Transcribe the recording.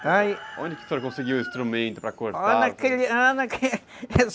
Onde que o senhor conseguiu o instrumento para cortar?